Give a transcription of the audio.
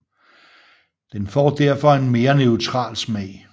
Den får derfor en mere neutral smag